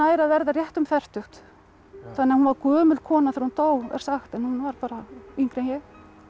að verða rétt um fertugt þannig að hún var gömul kona þegar hún dó er sagt en hún var bara yngri en ég